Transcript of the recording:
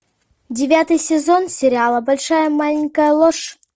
девятый сезон сериала большая маленькая ложь